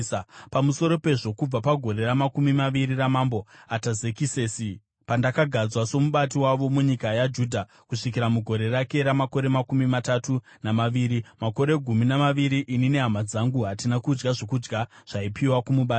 Pamusoro pezvo, kubva pagore ramakumi maviri raMambo Atazekisesi, pandakagadzwa somubati wavo munyika yaJudha, kusvikira pagore rake ramakore makumi matatu namaviri, makore gumi namaviri, ini nehama dzangu hatina kudya zvokudya zvaipiwa kumubati.